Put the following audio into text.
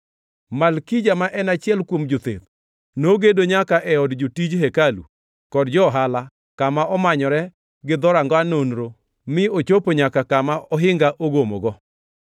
Malkija, ma en achiel kuom jotheth, nogedo nyaka e od jotij hekalu kod jo-ohala, kama omanyore gi Dhoranga Nonro mi ochopo nyaka kama ohinga ogomogo.